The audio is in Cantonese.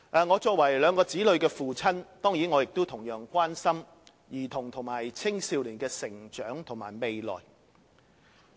我作為兩名子女的父親，當然亦同樣關心兒童和青少年的成長和未來。